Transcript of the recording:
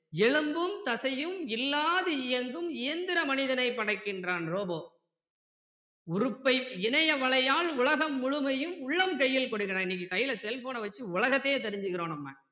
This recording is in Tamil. எலும்பும் தசையும் இல்லாது இயங்கும் எந்திர மனிதனைப் படைக்கிறான் robo உறுப்பை இணைய வலையால் உலகம் முழுமையும் உள்ளம் கையில் கொடுக்கிறான் இன்னைக்கு கையில cell phone அ வச்சி உலகத்தையே தெரிஞ்சிக்கிறோம் நம்ம